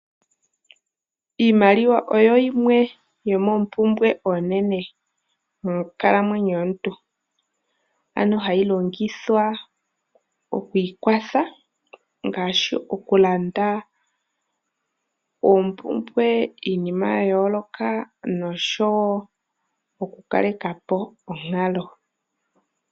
Iimaliwa oyo yimwe yomoompumbwe oonene monkalamwenyo yomuntu ano hayi longithwa okwiikwatha ngaashi okulanda oompumbwe iinima yaayooloka oshowo okukale ka po onkalo.